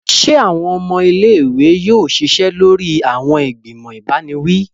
Se awọn ọmọ ilé-ìwé yóò ṣiṣẹ lórí awọn igbimọ ibaniwi?